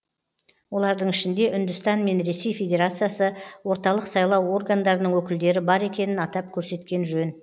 олардың ішінде үндістан мен ресей федерациясы орталық сайлау органдарының өкілдері бар екенін атап көрсеткен жөн